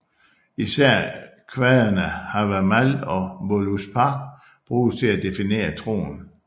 Især kvadene Havamál og Völuspá bruges til at definere troen